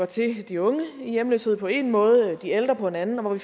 til de unge i hjemløshed på én måde de ældre på en anden og hvor vi